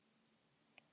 Tumabrekku